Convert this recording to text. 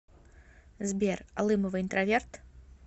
сбер алымова интроверт